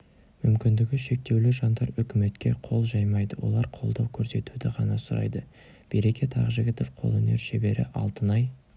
мүмкіндігі шектеулі жандар үкіметке қол жаймайды олар қолдау көрсетуді ғана сұрайды берекет ақжігітов қолөнер шебері алтынай